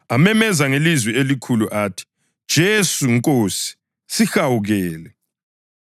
amemeza ngelizwi elikhulu athi, “Jesu, Nkosi, sihawukele!”